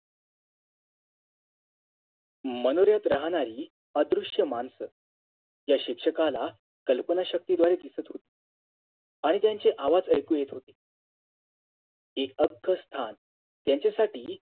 मनोऱ्यात राहणारी अदृश्य मानस या शिक्षकाला कल्पना शक्तीद्वारे दिसत होती आणि त्यांचे आवाज ऐकू येत होते ते अख्ख स्थान त्यांच्यासाठी